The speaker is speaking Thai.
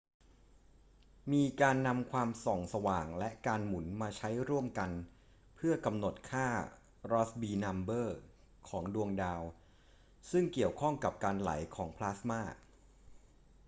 มีการนำความส่องสว่างและการหมุนมาใช้ร่วมกันเพื่อกำหนดค่ารอสส์บีนัมเบอร์ของดวงดาว ซึ่งเกี่ยวข้องกับการไหลของพลาสมา